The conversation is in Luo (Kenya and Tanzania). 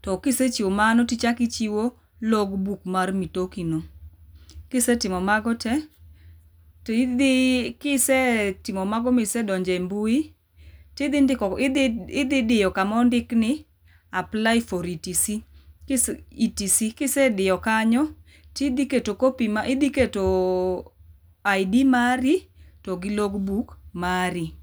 to kisechiwo mano to ichak ichiwo logbook mar mitoki no.Kisetimo mag tee, kisetimo magoma isedonje mbui tidhi ndiko, idhi diyo kaka ondik ni apply for ETC, kisediyo kanyo to idho keto copy mar, idhi keto ID mari togi logbook mari